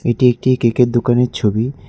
এটি একটি কেকের দোকানের ছবি।